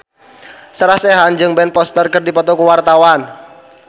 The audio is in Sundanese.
Sarah Sechan jeung Ben Foster keur dipoto ku wartawan